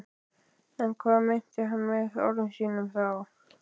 En hvað meinti hann með orðum sínum þá?